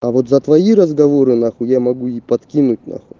а вот за твои разговоры нахуй я могу и подкинуть нахуй